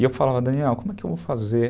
E eu falava, Daniel, como é que eu vou fazer?